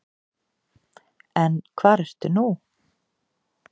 En hvar ertu nú?